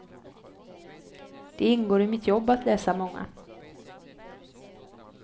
Det ingår i mitt jobb att läsa många.